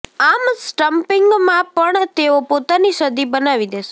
આમ સ્ટમ્પિંગમાં પણ તેઓ પોતાની સદી બનાવી દેશે